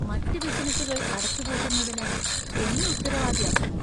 മറ്റ് ബിസിനസുകൾ അടച്ചുപൂട്ടുന്നതിന് എന്നെ ഉത്തരവാദിയാക്കുമോ?